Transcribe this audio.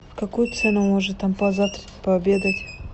в какую цену можно там позавтракать пообедать